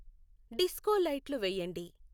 disco లైట్లు వేయండి